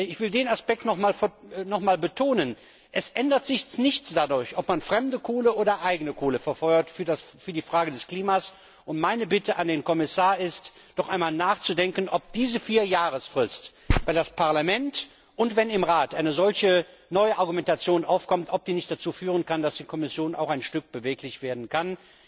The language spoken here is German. Ich will den Aspekt noch einmal betonen Für das Klima ändert sich nichts dadurch, ob man fremde Kohle oder eigene Kohle verfeuert. Meine Bitte an den Kommissar ist, doch einmal nachzudenken, ob diese Vierjahresfrist, wenn im Parlament und wenn im Rat eine solche neue Argumentation aufkommt, ob die nicht dazu führen kann, dass die Kommission auch ein Stück beweglich werden kann.